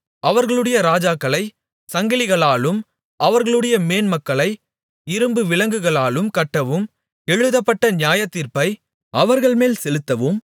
அவர்களுடைய ராஜாக்களைச் சங்கிலிகளாலும் அவர்களுடைய மேன்மக்களை இரும்பு விலங்குகளாலும் கட்டவும் எழுதப்பட்ட நியாயத்தீர்ப்பை அவர்கள்மேல் செலுத்தவும்